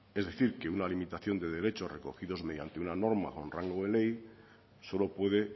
es decir que una limitación de derechos recogidos mediante una norma con rango de ley solo puede